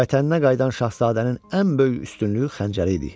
Vətəninə qayıdan şahzadənin ən böyük üstünlüyü xəncəri idi.